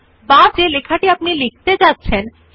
font নামে ক্ষেত্রের পাশে ফন্ট সাইজ ক্ষেত্রটি আছে